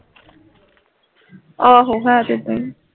ਆਹੋ ਹੈ ਤੇ ਸਹੀ